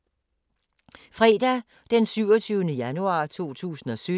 Fredag d. 27. januar 2017